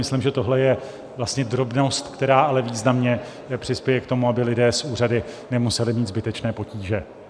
Myslím, že tohle je vlastně drobnost, která ale významně přispěje k tomu, aby lidé s úřady nemuseli mít zbytečné potíže.